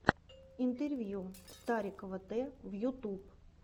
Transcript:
интервью старикова т в ютуб